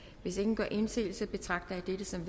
hvis ingen gør indsigelse betragter jeg dette som